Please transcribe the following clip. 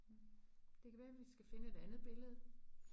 Det kan være vi skal finde et andet billede